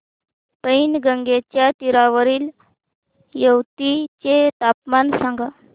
पैनगंगेच्या तीरावरील येवती चे तापमान सांगा